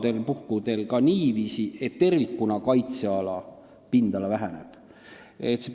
Osal puhkudel on ka niiviisi, et kaitseala pindala tervikuna väheneb.